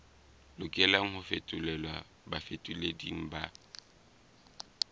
lokelang ho fetolelwa bafetoleding ba